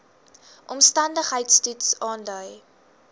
omstandigheids toets aandui